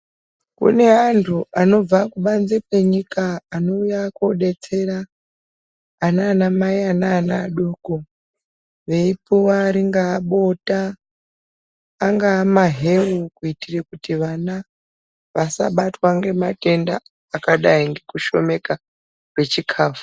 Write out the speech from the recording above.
Kune anhu anobva kubanze kwenyika anouya koobetsera ananamai, ana adoko, veipuwa ringaa bota, angaa maheu kuitira kuti vana vasabatwa ngematenda angadai ngekushomeka kwechikafu.